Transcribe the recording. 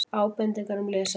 Ábendingar um lesefni: